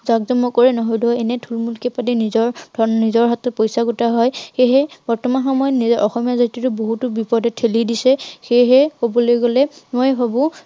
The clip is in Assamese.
জাকজমক কৰে। নহলেও এনেই থুলমুলকৈ পাতিও নিজৰ ধন, নিজৰ হাতত পইচা গোটোৱা হয়। সেয়েহে বৰ্তমান সময়ত নিজেই অসমীয়া জাতিটো বহুতো বিপথে ঠেলি দিছে। সেয়েহে কবলৈ গলে মই ভাৱো